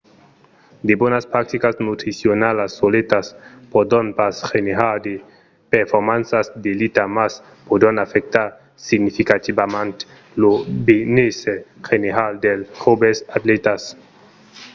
de bonas practicas nutricionalas soletas pòdon pas generar de performanças d'elita mas pòdon afectar significativament lo benésser general dels joves atlètas